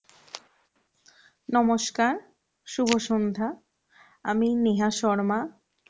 নমস্কার, শুভ সন্ধ্যা আমি নেহা শর্মা